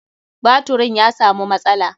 Baturin ya samu matsala.